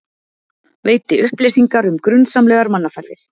Veiti upplýsingar um grunsamlegar mannaferðir